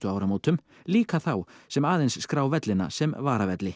áramótum líka þá sem aðeins skrá vellina sem